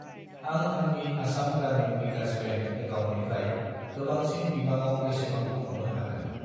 आं आंनि आसाम ग्रामिन भिकास बेंक एकाउन्टनिफ्राय गोबांसिन बिबाङाव बेसेबां बख'नो हागोन?